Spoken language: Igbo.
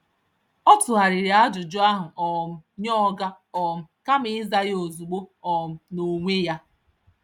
Ọ tụgharịrị ajụjụ ahụ um nye oga um kama ịza ya ozugbo um n’onwe ya.